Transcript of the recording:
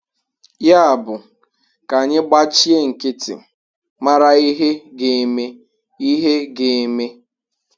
Yabụ, ka anyị gbachie nkịtị mara ihe ga-eme. ihe ga-eme.